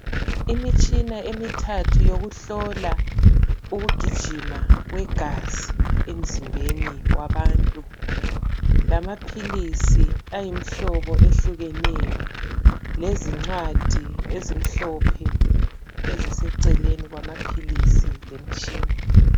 Imitshina emithathu yokuhlola ukugijima kwegazi emzimbeni wabantu. Lamaphilisi ayimihlobo ehlukeneyo. Lezincwadi ezimhlophe, eziseceleni kwanaphilisi lemitshina.